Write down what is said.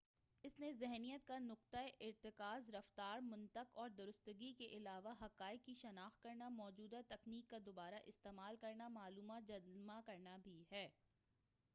اس ذہنیت کا نقطہ ارتکاز رفتار منطق اور درستگی کے علاوہ حقائق کی شناخت کرنا موجودہ تکنیک کا دوبارہ استعمال کرنا معلومات جمع کرنا بھی ہے